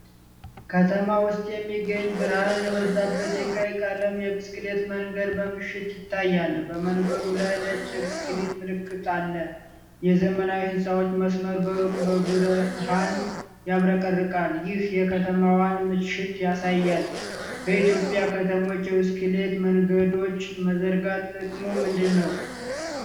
ከተማ ውስጥ የሚገኝ ብርሃን የበዛበት የቀይ ቀለም የብስክሌት መንገድ በምሽት ይታያል። በመንገዱ ላይ ነጭ የብስክሌት ምልክት አለ። የዘመናዊ ሕንፃዎች መስመር በሩቅ በብርሃን ያብረቀርቃል፤ ይህም የከተማዋን ምሽት ያሳያል። በኢትዮጵያ ከተሞች የብስክሌት መንገዶች መዘርጋት ጥቅሙ ምንድነው?